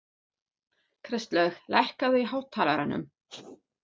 Kristlaug, lækkaðu í hátalaranum.